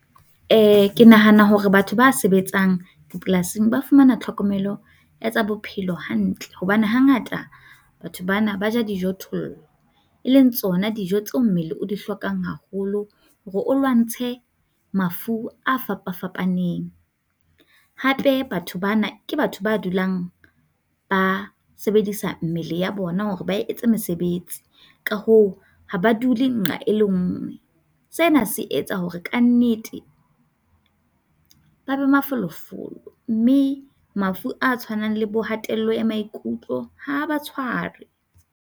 E ke nahana hore batho ba sebetsang dipolasing ba fumana tlhokomelo ya tsa bophelo hantle hobane hangata batho bana ba ja dijo-thollo e leng tsona dijo tseo mmele o di hlokang haholo hore o lwantshe mafu a fapafapaneng. Hape batho bana ke batho ba dulang ba sebedisa mmele ya bona hore ba etse mesebetsi, ka hoo ha ba dule nqa e le nngwe. Sena se etsa hore ka nnete ba be mafolofolo mme mafu a tshwanang le bokgatello ya maikutlo ha ba tshware.